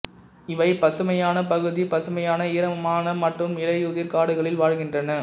இவை பசுமையான பகுதி பசுமையான ஈரமான மற்றும் இலையுதிர் காடுகளில் வாழ்கின்றன